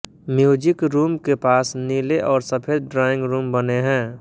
music room के पास नीले और सफ़ेद ड्राइंग रूम बने हैं